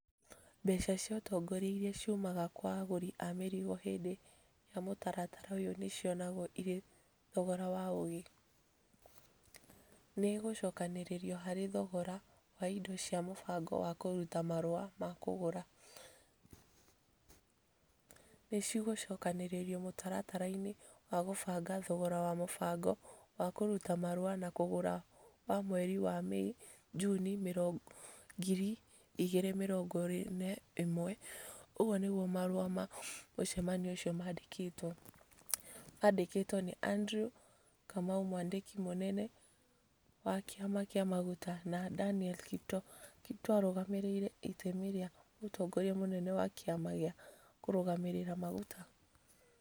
"Mbeca cia ũtongoria iria ciumaga kwa agũri a mĩrigo hĩndĩ ya mũtaratara ũyũ nĩ cionagwo irĩ thogora wa ũgĩ. Nĩ igũcokanĩrĩrio harĩ thogora wa indo cia mũbango wa kũruta marũa ma kũgũra. ni cigũcokanĩrĩrio mũtaratara-inĩ wa kũbanga thogora wa mũbango wa kũruta marũa ma kũgũra wa mweri wa Mĩĩ-Junĩ 2021". ũguo nĩguo marũa ma mũcemanio ũcio mandĩkĩtwo . Mandĩkĩtwo nĩ Andrew Kamau mwandĩki mũnene wa kĩama kĩa maguta , na Danieli Kiptoo. Kiptoo arũgamĩrĩire itemi rĩa mũtongoria mũnene wa kĩama gĩa kũrũgamĩrĩra maguta.